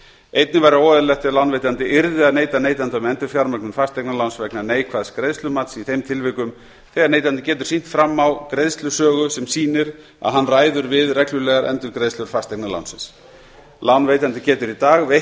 einnig væri óeðlilegt ef lánveitandi yrði að neita neytanda um endurfjármögnun fasteignaláns vegna neikvæðs greiðslumats í þeim tilvikum þegar neytandi getur sýnt fram á greiðslusögu sem sýnir að hann ræður við reglulegar endurgreiðslur fasteignalánsins lánveitandi getur í dag veitt